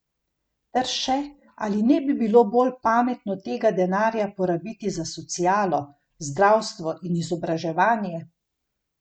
Ter še, ali ne bi bilo bolj pametno tega denarja porabiti za socialo, zdravstvo in izobraževanje?